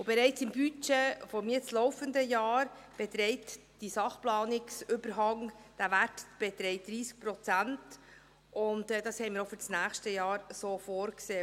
Bereits im Budget des jetzt laufenden Jahres beträgt der Wert des Sachplanungsüberhangs 30 Prozent, und dies haben wir auch für das nächste Jahr so vorgesehen.